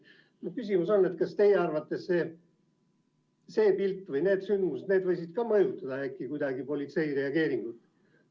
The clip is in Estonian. Mu küsimus on: kas teie arvates see pilt või need sündmused võisid kuidagi mõjutada politsei reageeringut?